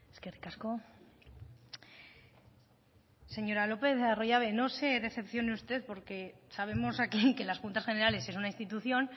eskerrik asko señora lopez de arroyabe no se decepcione usted porque sabemos aquí que las juntas generales es una institución